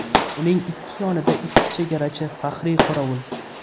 Uning ikki yonida ikki chegarachi faxriy qorovul.